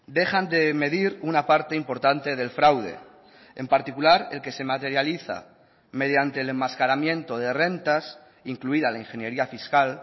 dejan de medir una parte importante del fraude en particular el que se materializa mediante el enmascaramiento de rentas incluida la ingeniería fiscal